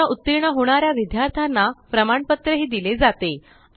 परीक्षेत उत्तीर्ण होणाऱ्या विद्यार्थ्यांना प्रमाणपत्र दिले जाते